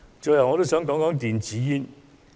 最後，我想談談電子煙。